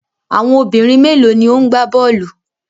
Àwọn obìnrin mélòó ni ó ń gbá bọ́ọ́lù?